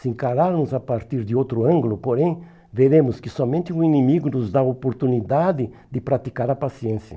Se encararmos a partir de outro ângulo, porém, veremos que somente o inimigo nos dá a oportunidade de praticar a paciência.